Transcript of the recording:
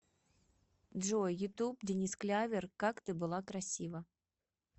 джой ютуб денис клявер как ты была красива